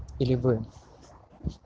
или вы